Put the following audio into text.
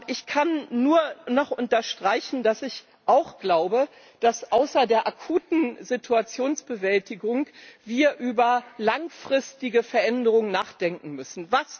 Ich kann nur noch unterstreichen, dass ich auch glaube, dass wir außer der akuten Situationsbewältigung über langfristige Veränderungen nachdenken müssen.